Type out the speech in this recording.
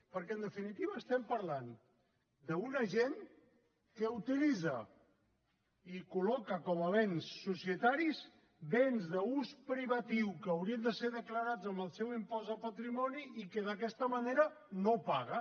perquè en definitiva estem parlant d’una gent que utilitza i col·loca com a béns societaris béns d’ús privatiu que haurien de ser declarats en el seu impost de patrimoni i que d’aquesta manera no paga